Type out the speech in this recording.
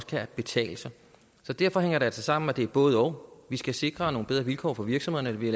kan betale sig så derfor hænger det altså sammen det er et både og vi skal sikre nogle bedre vilkår for virksomhederne